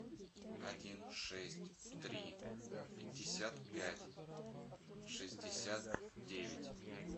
один шесть три пятьдесят пять шестьдесят девять